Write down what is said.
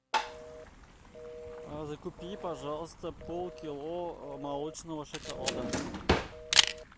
купи пожалуйста полкило молочного шоколада